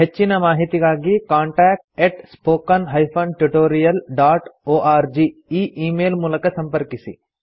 ಹೆಚ್ಚಿನ ಮಾಹಿತಿಗಾಗಿ contact spoken tutorialorg ಈ ಈ ಮೇಲ್ ಮೂಲಕ ಸಂಪರ್ಕಿಸಿ